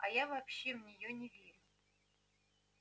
а я вообще в неё не верю